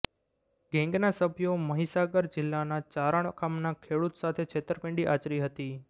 ગેંગના સભ્યો મહીસાગર જિલ્લાના ચારણ ગામના ખેડૂત સાથે છેતરપિંડી આચરી હતી